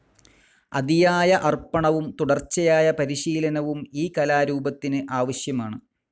അതിയായ അർപ്പണവും തുടർച്ചയായ പരിശീലനവും ഈ കലാരൂപത്തിന് ആവശ്യമാണ്.